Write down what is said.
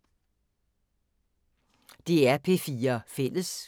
DR P4 Fælles